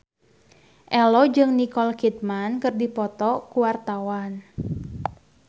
Ello jeung Nicole Kidman keur dipoto ku wartawan